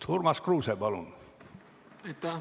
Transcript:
Urmas Kruuse, palun!